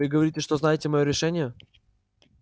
вы говорите что знаете моё решение